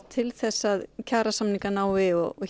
til þess að kjarasamningar náist og